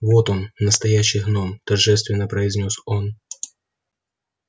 вот он настоящий гном торжественно произнёс он